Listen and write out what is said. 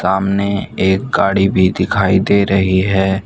सामने एक गाड़ी भी दिखाई दे रही है।